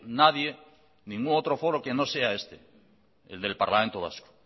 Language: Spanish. nadie ningún otro foro que no sea este el del parlamento vasco